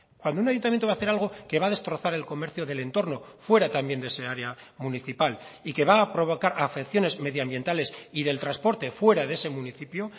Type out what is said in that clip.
cuando un ayuntamiento va a hacer algo que va a destrozar el comercio del entorno fuera también de ese área municipal y que va a provocar afecciones medioambientales y del transporte fuera de ese municipio